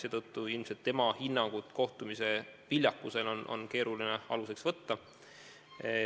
Seetõttu on tema hinnangut kohtumise viljakuse kohta keeruline aluseks võtta.